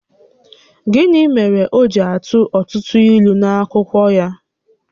Gịnị mèrè o ji atụ ọtụtụ ílú n’akụkọ ya?